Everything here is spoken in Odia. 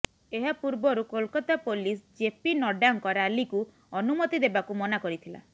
ଏହା ପୂର୍ବରୁ କୋଲକାତା ପୋଲିସ ଜେପି ନଡ୍ଡାଙ୍କ ରାଲିକୁ ଅନୁମତି ଦେବାକୁ ମନା କରିଥିଲା